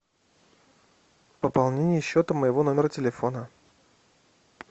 пополнение счета моего номера телефона